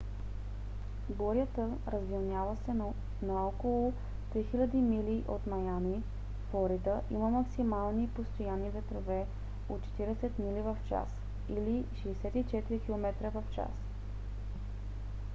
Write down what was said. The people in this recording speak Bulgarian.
бурята развилняла се на около 3000 мили от маями флорида има максимални постоянни ветрове от 40 мили в час 64 км/ч